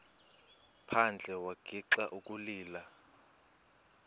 phandle wagixa ukulila